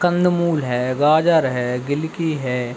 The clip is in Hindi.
कंदमूल है गाजर है गिल्की है।